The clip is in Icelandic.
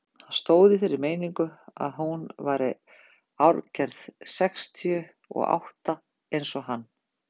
Hann stóð í þeirri meiningu að hún væri árgerð sextíu og átta eins og hann.